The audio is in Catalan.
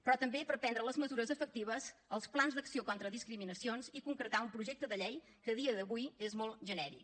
però també per prendre les mesures efectives els plans d’acció contra discriminacions i concretar un projecte de llei que a dia d’avui és molt genèric